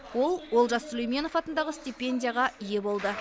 ол олжас сүлейменов атындағы стипендияға ие болды